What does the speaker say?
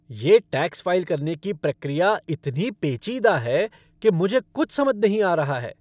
ये tax file करने की प्रक्रिया इतनी पेचीदा है कि मुझे कुछ समझ नहीं आ रहा है!